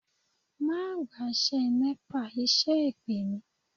Má gbaṣẹ́ Nepa, iṣẹ́ èpè ni